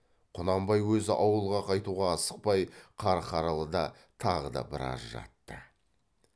құнанбай өзі ауылға қайтуға асықпай қарқаралыда тағы да біраз жатты